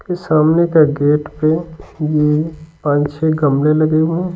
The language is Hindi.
के सामने का गेट पे ये पांच छह गमले लगे हुए हैं।